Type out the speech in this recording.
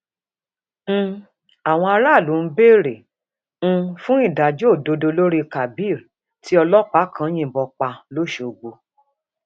um àwọn aráàlú ń béèrè um fún ìdájọ òdodo lórí kábír tí ọlọpàá kan yìnbọn pa lọsogbò